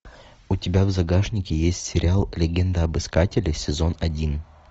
у тебя в загашнике есть сериал легенда об искателе сезон один